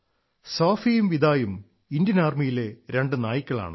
സോഫിയും വിദായും ഇന്ത്യൻ ആർമിയിലെ രണ്ട് നായ്ക്കളാണ്